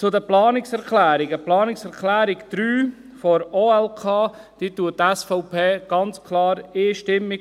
Zu den Planungserklärungen: Die Planungserklärung 3 zur OLK unterstützt die SVP ganz klar einstimmig.